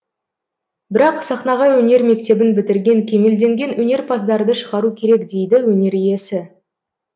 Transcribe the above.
бірақ сахнаға өнер мектебін бітірген кемелденген өнерпаздарды шығару керек дейді өнер иесі